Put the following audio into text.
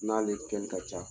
N'ale kɛn ka ca